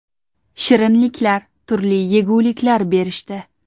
Shirinliklar, turli yeguliklar berishdi.